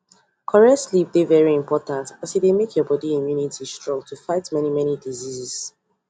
correct sleep dey very important as e dey make your body immunity strong to fight many many diseases